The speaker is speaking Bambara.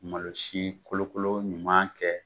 Malosi kolokolo ɲuman kɛ.